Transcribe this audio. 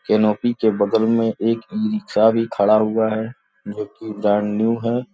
के बगल में एक ई-रिक्शा भी खड़ा हुआ है जोकि ब्रांड न्यू है।